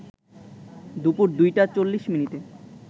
দুপুর ২টা ৪০ মিনিটে